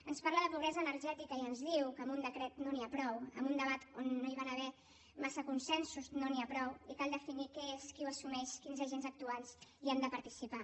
ens parla de pobresa energètica i ens diu que amb un decret no n’hi ha prou amb un debat on no hi van haver gaires consensos no n’hi ha prou i cal definir què és qui ho assumeix quins agents actuants hi han de participar